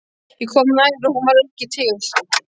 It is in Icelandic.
Ég kom nær og hún var ekki til.